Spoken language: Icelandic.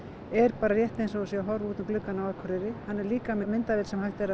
er rétt eins og hann sé að horfa út um gluggann á Akureyri hann er líka með myndavél sem hægt er að